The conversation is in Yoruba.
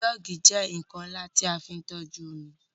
Joogi jẹ́ nkan nla ti a fin toju omi